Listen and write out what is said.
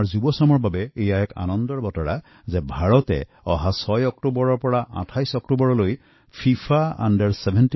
আমাৰ নৱপ্ৰজন্মৰ বাবে সুখৰ খবৰ যে ৬ৰ পৰা ২৮অক্টোবৰলৈ ভাৰতত ১৭ বছৰ অনূৰ্ধ্ব ফিফা বিশ্ব কাপ অনুষ্ঠিত হব